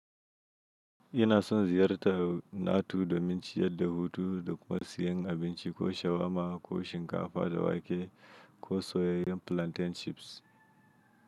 Ina son ziyarta Nato domin ciyadda hutu da kuma siyan abinci ko shawarma ko shinkafa da wake ko soyayen plantain chips.